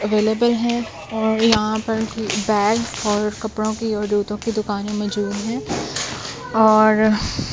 available है और यहां पर बैग और कपड़ों की और जूतों की दुकानें मौजूद हैं और --